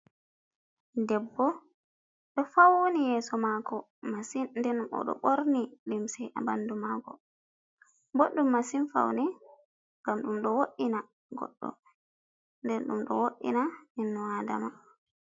Debbo ɗo fauni yeso mako masin, ɗen bo do borni limse ha bandu mako, boɗɗum masin faune ngam ɗum ɗo woddina goddo. Nden ɗum ɗo woddina ibnu adama.